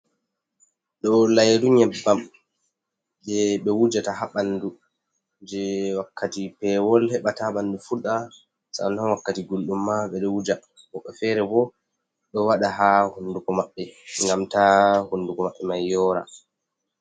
Ɗou Lairu Nyebbam, Je be Wujata ha Ɓandu Je Wakkati Pewol. Heba Ta Ɓandu Furɗa Sannan Wakkati Gulɗum ma Ɓedou Wuja, Woɓɓe Fere bo Ɗou Waɗa ha Hunduko Mabbe Ngam ta Hunduko Mabbe Mai Yora.